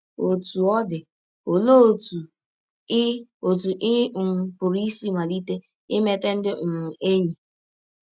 Ọtụ ọ dị, ọlee ọtụ ị ọtụ ị um pụrụ isi malite imeta ndị um enyi?